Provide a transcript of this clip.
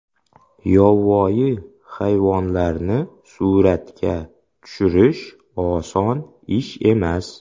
Yovvoyi hayvonlarni suratga tushirish oson ish emas.